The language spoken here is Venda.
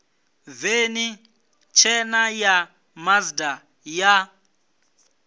veni tshena ya mazda ya